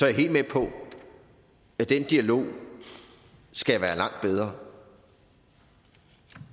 jeg helt med på at den dialog skal være langt bedre